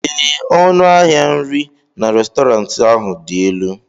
ee, ọnụ ahịa nri na Restọrantị ahụ dị elu